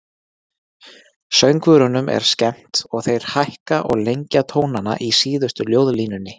Söngvurunum er skemmt og þeir hækka og lengja tónana í síðustu ljóðlínunni.